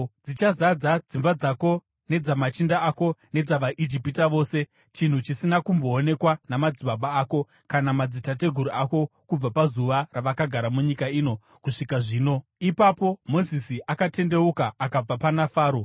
Dzichazadza dzimba dzako nedzamachinda ako nedzavaIjipita vose, chinhu chisina kumboonekwa namadzibaba ako kana madzitateguru ako kubva pazuva ravakagara munyika ino kusvika zvino.’ ” Ipapo Mozisi akatendeuka akabva pana Faro.